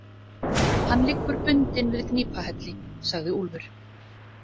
Hann liggur bundinn við Gnipahelli, sagði Úlfur.